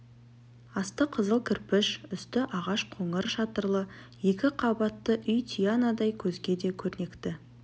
асты қызыл кірпіш үсті ағаш қоңыр шатырлы екі қабатты үй тиянадай көзге де көрнекті